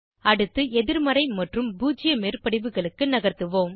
அடுத்து எதிர்மறை மற்றும் பூஜ்ஜிய மேற்படிவுகளுக்கு நகர்த்துவோம்